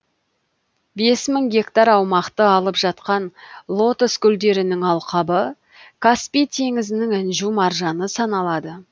бес мың гектар аумақты алып жатқан лотос гүлдерінің алқабы каспий теңізінің інжу маржаны саналады